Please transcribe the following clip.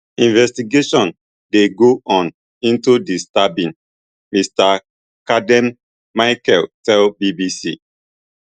investigation dey go on into di stabbing mr caldern michel tell bbc